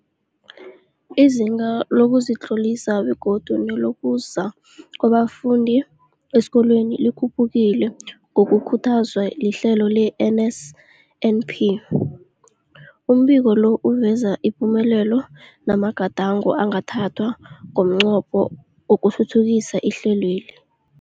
Izinga lokuzitlolisa begodu nelokuza kwabafundi esikolweni likhuphukile ngokukhuthazwa lihlelo le-NSNP. Umbiko lo uveza ipumelelo namagadango angathathwa ngomnqopho wokuthuthukisa ihlelweli.